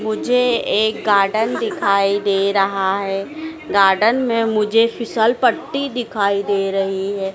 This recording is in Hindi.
मुझे एक गार्डन दिखाई दे रहा हैं गार्डन में मुझे फिसल पट्टी दिखाई दे रही हैं।